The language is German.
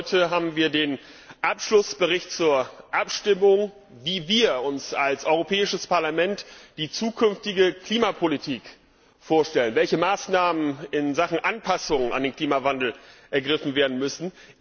Heute liegt uns der Abschlussbericht zur Abstimmung vor, wie wir uns als Europäisches Parlament die zukünftige Klimapolitik vorstellen, welche Maßnahmen in Sachen Anpassung an den Klimawandel ergriffen werden müssen.